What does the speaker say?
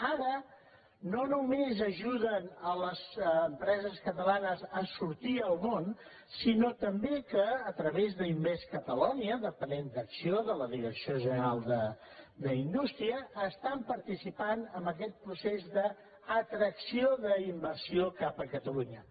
ara no només ajuden les empreses catalanes a sortir al món sinó també que a través d’invest in catalonia depenent d’acc1ó de la direcció general d’indústria estan participant en aquest procés d’atracció d’inversió cap a catalunya